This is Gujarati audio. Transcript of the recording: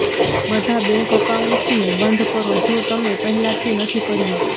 બધા બેન્ક એકાઉન્ટ્સને બંધ કરો જો તમે પહેલાંથી નથી કર્યું